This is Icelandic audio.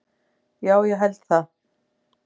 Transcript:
Já, ég held það